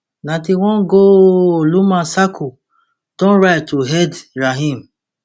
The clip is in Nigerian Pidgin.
ninety-one goooooaaaaallumar sako don rise to head rahim